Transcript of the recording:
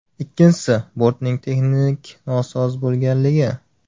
Ikkinchisi, bortning texnik nosoz bo‘lganligi.